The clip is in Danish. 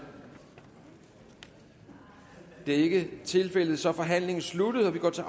det er ikke tilfældet så er forhandlingen sluttet og vi går til